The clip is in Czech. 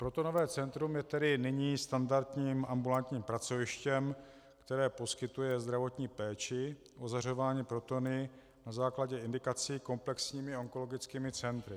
Protonové centrum je tedy nyní standardním ambulantním pracovištěm, které poskytuje zdravotní péči ozařování protony na základě indikací komplexními onkologickými centry.